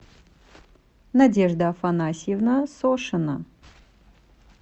надежда афанасьевна сошина